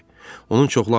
Onun çoxlu aləti var.